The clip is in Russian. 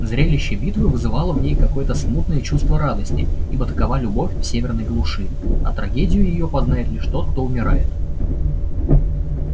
зрелище битвы вызывало в ней какое-то смутное чувство радости ибо такова любовь в северной глуши а трагедию её познает лишь тот кто умирает